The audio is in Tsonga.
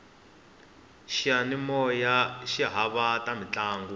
xiyanimoya xi haxa ta mintlangu